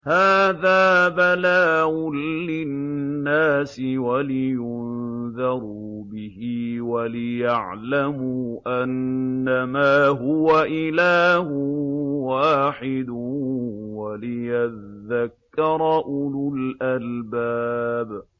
هَٰذَا بَلَاغٌ لِّلنَّاسِ وَلِيُنذَرُوا بِهِ وَلِيَعْلَمُوا أَنَّمَا هُوَ إِلَٰهٌ وَاحِدٌ وَلِيَذَّكَّرَ أُولُو الْأَلْبَابِ